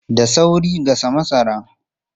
Da sauri gasa masara!